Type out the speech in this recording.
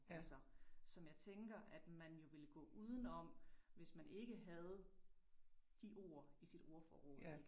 Altså, som jeg tænker, at man jo ville gå uden om, hvis man ikke havde de ord i sit ordforråd, ik